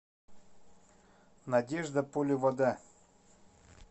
надежда поливода